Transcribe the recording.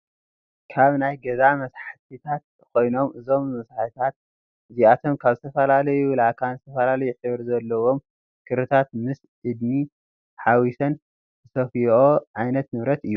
ካብ ናይ ገዛ መሳሒታት ኮይኖም እዞም መሳሒታት እዚኣቶም ከብ ዝተፈላለዩ ላካን ዝተፈላለዩ ሕብሪ ዘለዎም ክሪታት ምስ እድኒ ሓዊሰን ዝሰፍየኦ ዓይነት ንብረት እዩ።